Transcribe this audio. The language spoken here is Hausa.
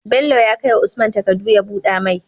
Bello ya kai wa usman takadu ya buda mai